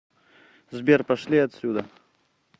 сбер пошли отсюда